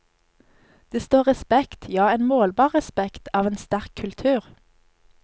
Det står respekt, ja en målbar respekt, av en sterk kultur.